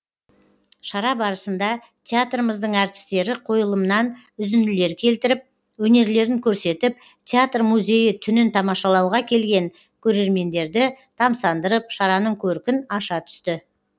шара барысында театрымыздың әртістері қойылымнан үзінділер келтіріп өнерлерін көрсетіп театр музейі түнін тамашалауға келген көрермендерді тамсандырып шараның көркін аша түсті